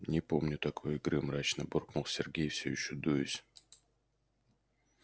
не помню такой игры мрачно буркнул сергей всё ещё дуясь